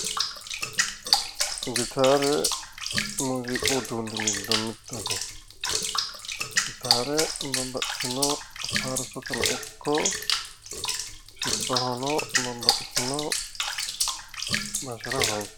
gitaare muziiqu uduunni giddo mittete gitaare babbaxxitino faarsoteno ikko sirbahono babbaxxitino basera horonsi'neemmo